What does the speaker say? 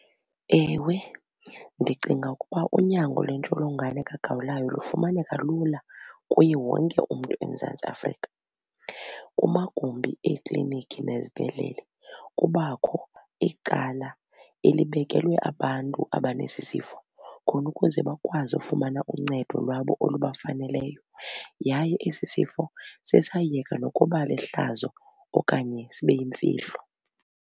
Ewe, ndicinga ukuba unyango lwentsholongwane kagawulayo lufumaneka lula kuye wonke umntu eMzantsi Afrika. Kumagumbi eekliniki nezibhedlele kubakho icala elibekelwe abantu abanesi sifo khona ukuze bakwazi ufumana uncedo lwabo olubafaneleyo yaye esi sifo sesayeka nokuba lihlazo okanye sibe yimfihlo.